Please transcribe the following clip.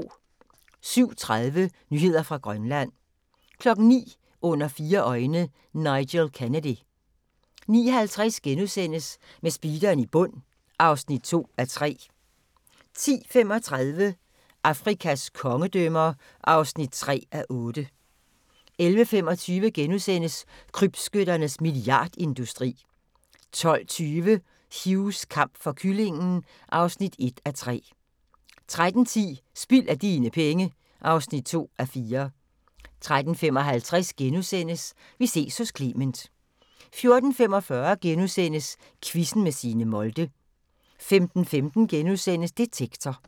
07:30: Nyheder fra Grønland 09:00: Under fire øjne – Nigel Kennedy 09:50: Med speederen i bund (2:3)* 10:35: Afrikas kongedømmer (3:8) 11:25: Krybskytternes milliardindustri * 12:20: Hughs kamp for kyllingen (1:3) 13:10: Spild af dine penge (2:4) 13:55: Vi ses hos Clement * 14:45: Quizzen med Signe Molde * 15:15: Detektor *